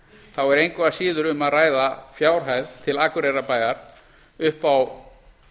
þá er engu að síður um að ræða fjárhæð til akureyrarbæjar upp á